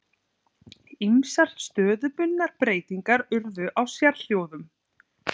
Ýmsar stöðubundnar breytingar urðu á sérhljóðum.